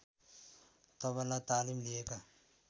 तबला तालिम लिएका